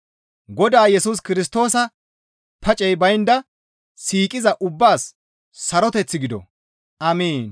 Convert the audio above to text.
Godaa Yesus Kirstoosa pacey baynda siiqiza ubbaas saroteththi gido. Amiin.